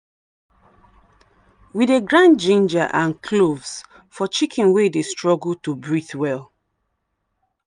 we dey grind ginger and cloves for chicken wey dey struggle to breathe well.